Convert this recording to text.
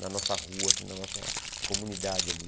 na nossa rua, na nossa comunidade ali.